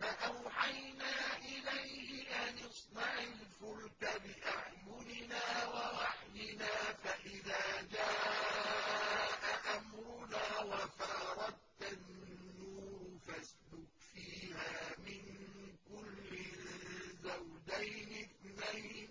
فَأَوْحَيْنَا إِلَيْهِ أَنِ اصْنَعِ الْفُلْكَ بِأَعْيُنِنَا وَوَحْيِنَا فَإِذَا جَاءَ أَمْرُنَا وَفَارَ التَّنُّورُ ۙ فَاسْلُكْ فِيهَا مِن كُلٍّ زَوْجَيْنِ اثْنَيْنِ